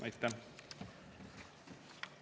Aitäh!